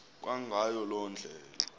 kwangayo loo ndlela